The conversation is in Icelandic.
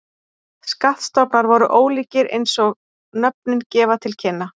Skattstofnar voru ólíkir eins og nöfnin gefa til kynna.